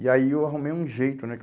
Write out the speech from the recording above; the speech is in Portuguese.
E aí eu arrumei um jeito, né?